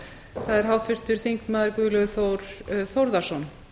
það er háttvirtur þingmaður guðlaugur þór þórðarson